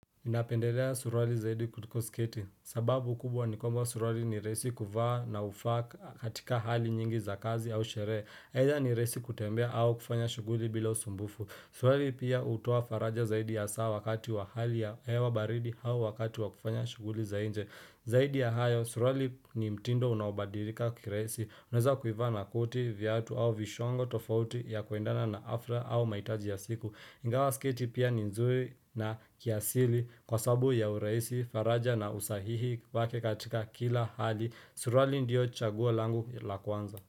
Napendelea suruali zaidi kutuko sketi, sababu kubwa ni kwamba suruali ni resi kuvaa na hufaa katika hali nyingi za kazi au shere Heza ni resi kutembea au kufanya shuguli bila usumbufu Suruali pia utoa faraja zaidi ya saa wakati wa hali ya hewa baridi au wakati wa kufanya shughuli za inje Zaidi ya hayo, suruali ni mtindo unabadirika kiraisi Unaweza kuivaa na koti, viatu au vishongo tofauti ya kuendana na afra au maitaji ya siku Ingawa sketi pia ni nzuri na kiasili kwa sabu ya uraisi, faraja na usahihi wake katika kila hali. Suruali ndio chaguo langu la kwanza.